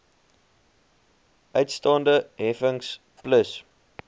uitstaande heffings plus